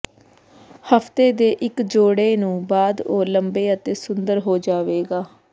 ਹਫ਼ਤੇ ਦੇ ਇੱਕ ਜੋੜੇ ਨੂੰ ਬਾਅਦ ਉਹ ਲੰਬੇ ਅਤੇ ਸੁੰਦਰ ਹੋ ਜਾਵੇਗਾ